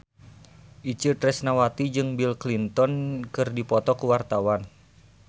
Itje Tresnawati jeung Bill Clinton keur dipoto ku wartawan